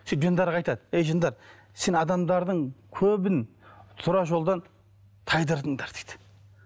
сөйтіп жындарға айтады әй жындар сен адамдардың көбін тура жолдан тайдырдыңдар дейді